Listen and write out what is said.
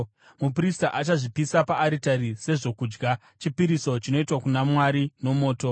Muprista achazvipisa paaritari sezvokudya, chipiriso chinoitwa kuna Mwari nomoto.